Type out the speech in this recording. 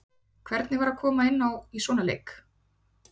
Hvernig var að koma inná í svona leik?